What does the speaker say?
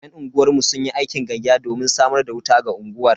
Yan unguwar mu sunyi aikin gayya domin samar da wuta ga unguwar.